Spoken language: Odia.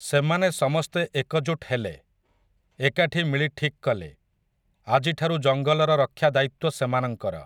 ସେମାନେ ସମସ୍ତେ ଏକଜୁଟ୍ ହେଲେ, ଏକାଠି ମିଳି ଠିକ୍ କଲେ, ଆଜିଠାରୁ ଜଙ୍ଗଲର ରକ୍ଷା ଦାୟିତ୍ୱ ସେମାନଙ୍କର ।